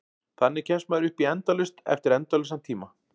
Þannig kemst maður upp í endalaust eftir endalausan tíma.